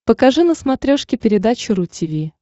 покажи на смотрешке передачу ру ти ви